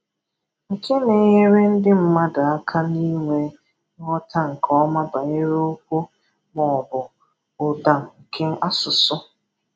Nke na-enyere ndi mmadụ aka n’inwe nghọta nke ọma banyere okwu ma ọ bụ ụda nke asụsụ.